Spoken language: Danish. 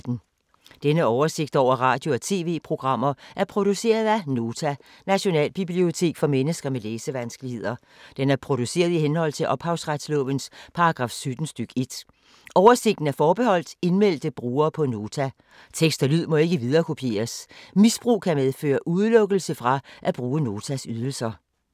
Denne oversigt over radio og TV-programmer er produceret af Nota, Nationalbibliotek for mennesker med læsevanskeligheder. Den er produceret i henhold til ophavsretslovens paragraf 17 stk. 1. Oversigten er forbeholdt indmeldte brugere på Nota. Tekst og lyd må ikke viderekopieres. Misbrug kan medføre udelukkelse fra at bruge Notas ydelser.